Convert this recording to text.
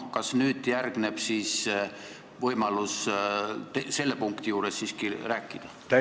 Kas nüüd järgneb võimalus selle punkti juures siiski rääkida?